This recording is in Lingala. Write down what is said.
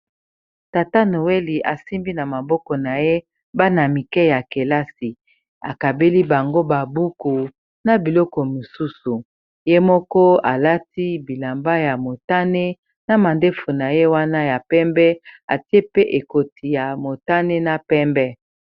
Tata noweli asimbi na maboko na ye bana-mike ya kelasi akabeli bango ba buku na biloko mosusu ye moko alati bilamba ya motane na mandefu na ye wana ya pembe atie pe ekoti ya motane na pembe.